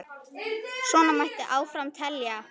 Svona mætti áfram telja.